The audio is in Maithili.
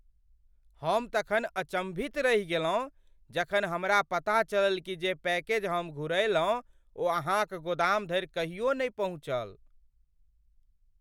हम तखन अचम्भित रहि गेलहुँ जखन हमरा पता चलल कि जे पैकेज हम घुरयलहुँ ओ अहाँक गोदाम धरि कहियो नहि पहुँचल!